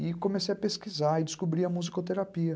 E comecei a pesquisar e descobri a musicoterapia.